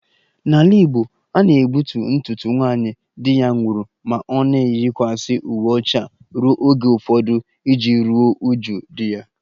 N'ala Igbo a na-egbutu ntutu nwaanyị di ya nwụrụ ma ọ na-eyikwasị uwe ọcha ruo oge ụfọdụ iji ruo uju di ya